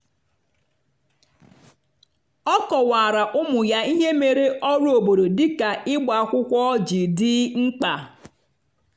ọ kọwara ụmụ ya ihe mere ọrụ obodo dị ka ịgba akwụkwọ ji dị mkpa.